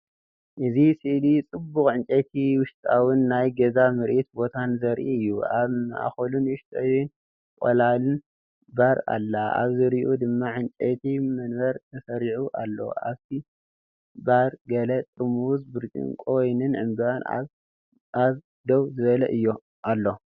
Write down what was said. እዚ ስእሊ ጽቡቕ ዕንጨይቲ ውሽጣዊን ናይ ገዛ ምርኢት ቦታን ዘርኢ እዩ። ኣብ ማእከሉ ንእሽቶን ቀላልን ባር ኣላ። ኣብ ዙርያኡ ድማ ዕንጨይቲ መንበር ተሰሪዑ ኣሎ። ኣብቲ ባር ገለ ጥርሙዝ ብርጭቆ ወይኒን ዕምባባ ኣብ ደው ዝበለ ኣሎ።